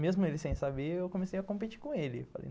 Mesmo ele sem saber, eu comecei a competir com ele.